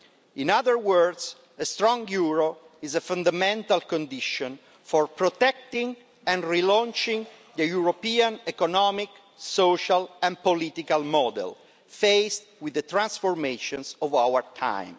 In other words, a strong euro is a fundamental condition for protecting and relaunching the European economic, social and political model, faced with the transformations of our time.